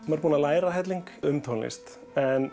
er búinn að læra helling um tónlist en